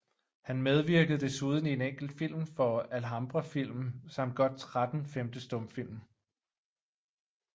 Han medvirkede desuden i en enkelt film for Alhambra Film samt godt 13 svenske stumfilm